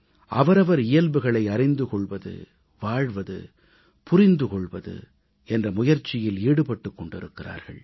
அவரவர் இயல்புகளை அறிந்து கொள்வது வாழ்வது புரிந்து கொள்வது என்ற முயற்சியில் ஈடுபட்டுக் கொண்டிருக்கிறார்கள்